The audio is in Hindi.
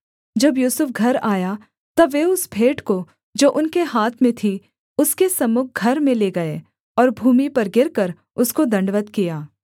जब यूसुफ घर आया तब वे उस भेंट को जो उनके हाथ में थी उसके सम्मुख घर में ले गए और भूमि पर गिरकर उसको दण्डवत् किया